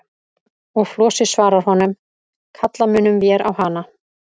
Og Flosi svarar honum: Kalla munum vér á hana.